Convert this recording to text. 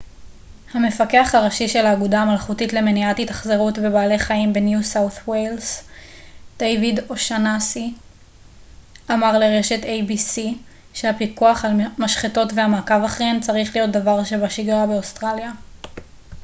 המפקח הראשי של האגודה המלכותית למניעת התאכזרות בבעלי חיים בניו סאות' ווילס דיוויד אושאנסי אמר לרשת איי-בי-סי שהפיקוח על משחטות והמעקב אחריהן צריך להיות דבר שבשגרה באוסטרליה